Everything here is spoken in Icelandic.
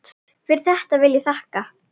Fyrir þetta vil ég þakka.